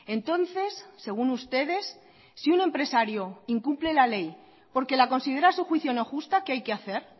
entonces según ustedes si un empresario incumple la ley porque la considera a su juicio no justa qué hay que hacer